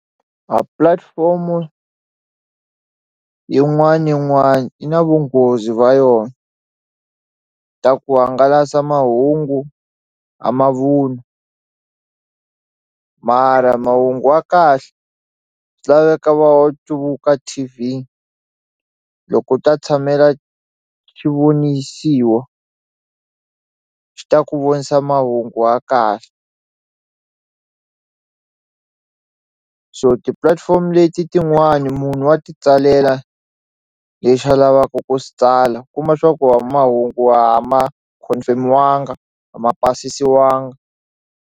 A platform-o yin'wani na yin'wani yi na vunghozi va yona ta ku hangalasa mahungu a mavun'wa mara mahungu wa kahle swi laveka va u T_V loko u ta tshamela xivonisiwa xi ta ku vonisa mahungu wa kahle ku so ti-platform leti tin'wani munhu wa ti tsalela lexa lavaku ku swi tsala kuma swa ku wa mahungu a ma confirm-iwanga a ma pasisiwanga.